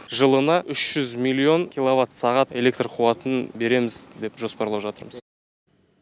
жылына үш жүз миллион киловатт сағат электро қуатын береміз деп жоспарлап жатырмыз